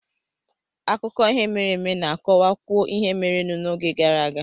Akụkọ ihe mere eme na-akọwakwuo ihe merenụ n'oge gara aga